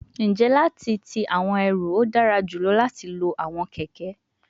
N je lati ti awọn eru, o dara julọ lati lo awọn kẹkẹ